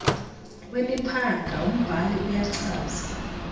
wemiphanga umbhali uyachaza